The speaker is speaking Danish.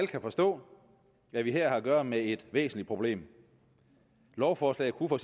kan forstå at vi her har at gøre med et væsentligt problem lovforslaget kunne for